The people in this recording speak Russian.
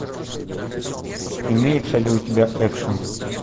имеется ли у тебя экшн